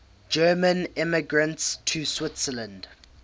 german immigrants to switzerland